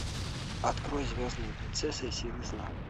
открой звездная принцесса и силы зла